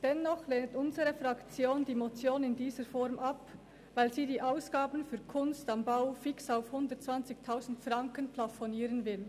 Dennoch lehnt unsere Fraktion die Motion in dieser Form ab, weil sie die Ausgaben für «Kunst am Bau» fix auf 120 000 Franken plafonieren will.